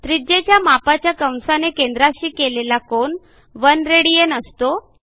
त्रिज्येच्या मापाच्या कंसाने केंद्राशी केलेला कोन 1 राड असतो